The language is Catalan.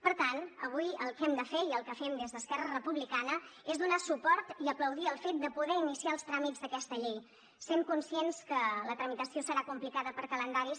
per tant avui el que hem de fer i el que fem des d’esquerra republicana és donar suport i aplaudir el fet de poder iniciar els tràmits d’aquesta llei sent conscients que la tramitació serà complicada per calendaris